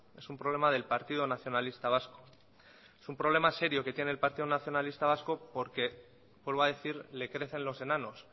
es un problema del partido nacionalista vasco es un problema serio que tiene el partido nacionalista vasco porque vuelvo a decir le crecen los enanos